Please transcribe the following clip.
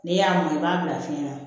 N'i y'a mɔn i b'a bila fiɲɛ na